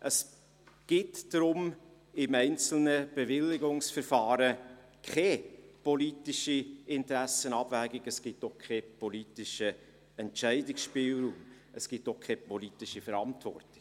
Es gibt im einzelnen Bewilligungsverfahren keine politische Interessensabwägung, und es gibt auch keinen politischen Entscheidungsspielraum und keine politische Verantwortung.